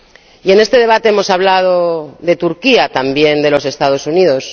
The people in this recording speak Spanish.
Y en este debate hemos hablado de Turquía, también de los Estados Unidos